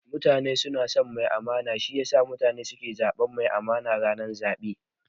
Mutane suna son mai amana, shi yasa mutane suke zaɓan masu amana lokacin zaɓe